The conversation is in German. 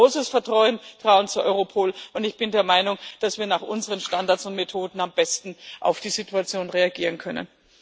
Ich habe großes Vertrauen zu Europol, und ich bin der Meinung, dass wir nach unseren Standards und Methoden am besten auf die Situation reagieren können.